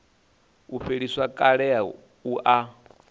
u fheliswa kale u ya